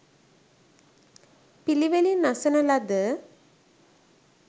පිළිවෙළින් අසන ලද